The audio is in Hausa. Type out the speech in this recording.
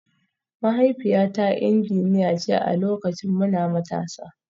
Mahaifiyata injiniya ce a lokacin muna matasa